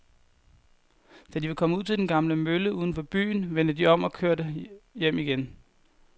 Da de var kommet ud til den gamle mølle uden for byen, vendte de om og kørte hjem igen.